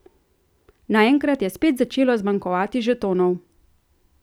Naenkrat je spet začelo zmanjkovat žetonov.